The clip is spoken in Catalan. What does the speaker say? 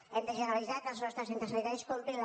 hem de generalitzar que els nostres centres sanitaris comprin la